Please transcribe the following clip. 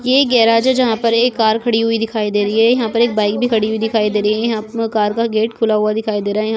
ये गॅरेज है जहा पर एक कार खडी हुई दिखाई दे रही है यहाँ पर एक बाइक भी खडी हुई दिखाई दे रही है यहाँ पे कार का गेट खुला हुआ दिखाई दे रहा है यहाँ--